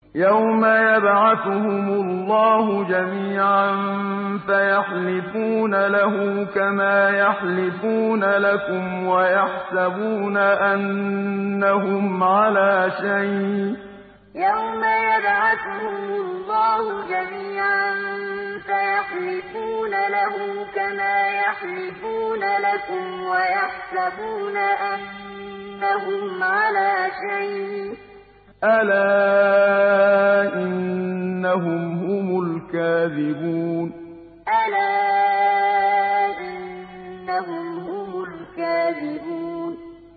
يَوْمَ يَبْعَثُهُمُ اللَّهُ جَمِيعًا فَيَحْلِفُونَ لَهُ كَمَا يَحْلِفُونَ لَكُمْ ۖ وَيَحْسَبُونَ أَنَّهُمْ عَلَىٰ شَيْءٍ ۚ أَلَا إِنَّهُمْ هُمُ الْكَاذِبُونَ يَوْمَ يَبْعَثُهُمُ اللَّهُ جَمِيعًا فَيَحْلِفُونَ لَهُ كَمَا يَحْلِفُونَ لَكُمْ ۖ وَيَحْسَبُونَ أَنَّهُمْ عَلَىٰ شَيْءٍ ۚ أَلَا إِنَّهُمْ هُمُ الْكَاذِبُونَ